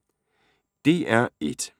DR1